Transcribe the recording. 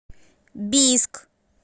бийск